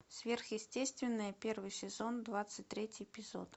сверхъестественное первый сезон двадцать третий эпизод